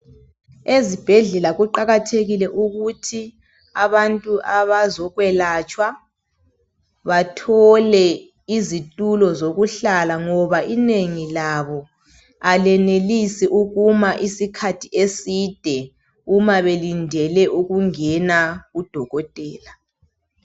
Ezibhedlela kuqakathekile ukuthi abantu abazokwelatshwa bathole izitulo zokuhlala ngoba inengi labo abenelisi ukuma isikhathi eside, uma belindele ukungena kudokotela.